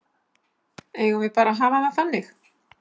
Eigum við ekki bara að hafa það þannig?